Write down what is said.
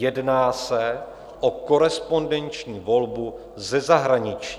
Jedná se o korespondenční volbu ze zahraničí.